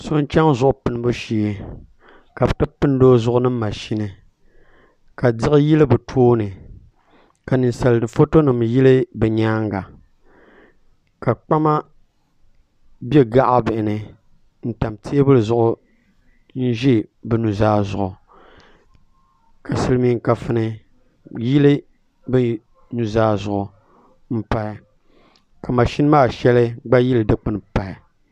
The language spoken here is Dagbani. So n chɛŋ zuɣu pinibu shee ka bi ti pindi o zuɣu ni mashini ka diɣi yili bi tooni ka ninsal foto nim yili bi nyaanga ka kpama bɛ gaɣa bihi ni n tam teebuli zuɣu n ʒɛ bi nuzaa zuɣu ka silmiin kafuni yili bi nuzaa zuɣu n pahi ka mashini maa shɛli gba yili dikpuni pahi